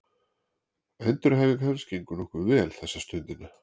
Endurhæfing hans gengur nokkuð vel þessa stundina.